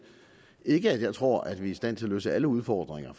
ikke at jeg tror at vi er i stand til at løse alle udfordringer